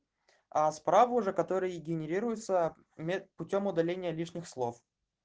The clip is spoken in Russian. а справа уже который генерируется путём удаления лишних слов